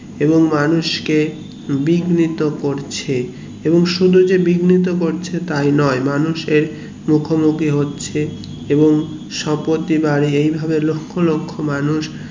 এবং মানুষকে বিগ্নিত করছে এবং শুধু যে বিগ্নিত করছে তাই নোই মানুষের মুখোমুখি হচ্ছে এবং স্পতিবার এই ভাবে লক্ষ লক্ষ মানুষ